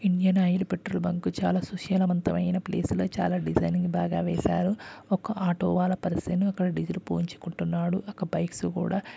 Engine oil petrol bunk చాలా సుశాలవంతమైన place ల చాలా డిజైనింగ్ బాగా వేశారు. ఒక ఆటో వాల పర్సన్ ఒక డిజిల్ పోయించుకుంటున్నాడు. అక్కడ బైక్ స్ కూడా --